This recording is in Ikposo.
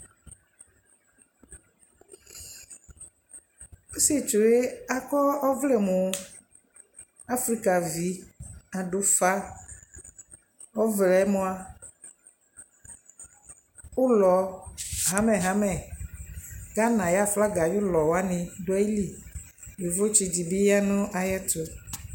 Ɔsiɛtsue akɔɔ ɔvlɛ mu Afiika vi aduufa ɔɔvlɛ mua ulɔ xamexame Ghana ayu flaga ayulɔ bi duayili Yovo tsii dibi yaa nayɛtu